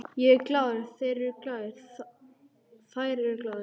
Ég er glaður, þeir eru glaðir, þær eru glaðar.